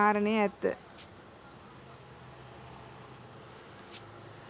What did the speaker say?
කාරණය ඇත්ත.